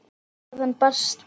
Þaðan barst baulið.